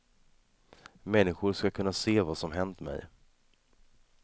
Människor ska kunna se vad som hänt mig.